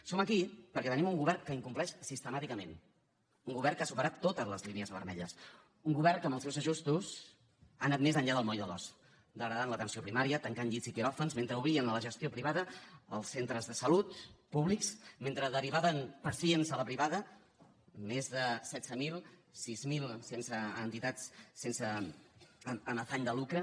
som aquí perquè tenim un govern que incompleix sistemàticament un govern que ha superat totes les lí nies vermelles un govern que amb els seus ajustaments ha anat més enllà del moll de l’os degradant l’atenció primària tancant llits i quiròfans mentre obrien a la gestió privada els centres de salut públics mentre derivaven pacients a la privada més de setze mil sis mil a entitats amb afany de lucre